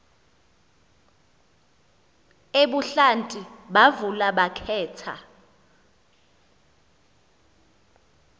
ebuhlanti bavula bakhetha